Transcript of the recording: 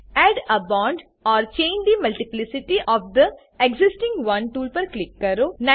add a bond or change the multiplicity of the existing one tool પર click કરો